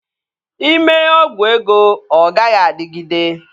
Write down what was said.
Ị mee ọgwụ ego, ọ gaghị adịgide